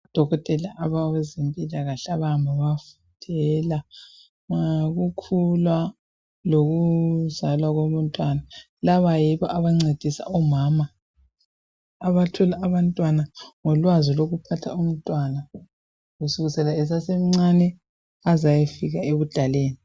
Odokotela abezempilakahle abakhangela ngokukhula lokuzalwa komntwana laba yibo abancedisa omama abathola abantwana ngolwazi lokubeletha umntwana kusukisela esasemncane aze ayefika ebudaleni.